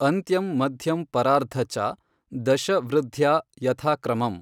ಅಂತ್ಯಂ ಮಧ್ಯಂ ಪರಾರ್ಧ ಚ, ದಶ ವೃಧ್ಯಾ ಯಥಾ ಕ್ರಮಮ್।